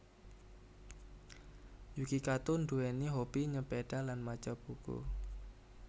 Yuki Kato nduwèni hobi nyepeda lan maca buku